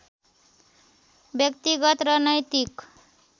व्यक्तिगत र नैतिक